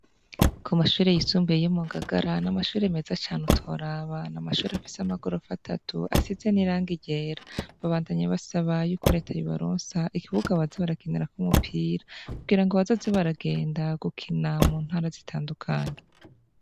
Ku mashure yisumbuye yo mu Ngagara, n'amashure meza cane utoraba. N'amashure afise amagorofa atatu, asize n'irangi ryera. Babandanya basaba y'uko reta, yobaronsa ikibuga baza barakinirako umupira, kugira ngo bazoze baragenda gukina mu ntara zitandukanye.